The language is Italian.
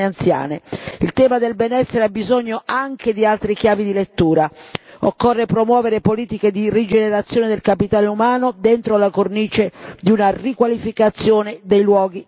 Il tema del benessere ha bisogno anche di altre chiavi di lettura, occorre promuovere politiche di rigenerazione del capitale umano dentro la cornice di una riqualificazione dei luoghi della vita.